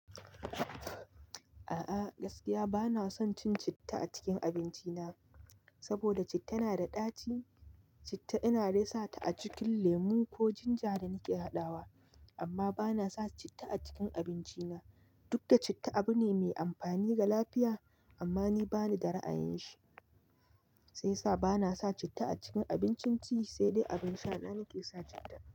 A'a gaskiya bana son cin citta a cikin abinci na, saboda citta na da ɗaci. Citta ina dai sa ta a cikin lemu ko ginger da nake haɗawa amma bana sa citta a cikin abinci na. Duk da citta abu ne mai amfani ga lafiya amma ni bani da ra'ayin shi, sai yasa bana sa citta a cikin abincin ci, sai dai abin sha na nake sa citta.